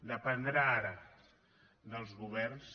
dependrà ara dels governs